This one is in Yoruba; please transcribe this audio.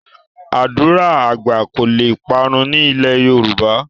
Ádùrá àgbà kò le parun ní ilẹ̀ Yorùbá